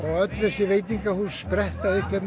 öll þessi veitingahús spretta upp hérna